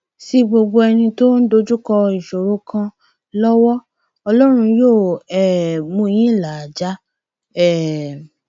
sí gbogbo ẹni tó ń dojúkọ ìṣòro kan lọwọ ọlọrun yóò um mú yín là á já um